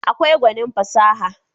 akwai gwanin fasaha